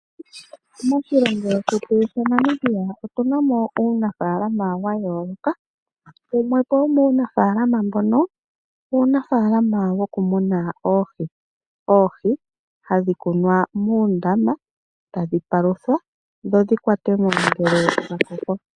Moshilongo shetu shaNamibia otu na mo uunafaalama wa yooloka. Wumwe po womuunafaalama mbono uunafaalama wokumuna oohi. Oohi hadhi kunwa muundama, tadhi paluthwa dho dhi kwatwe mo ngele dha koko.